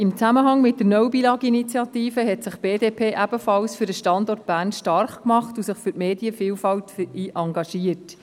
Im Zusammenhang mit der «No Billag»-Initiative hat sich die BDP ebenfalls für den Standort Bern starkgemacht und sich für die Medienvielfalt engagiert.